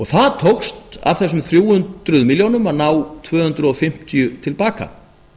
það tókst af þessum þrjú hundruð milljónum að ná tvö hundruð fimmtíu til baka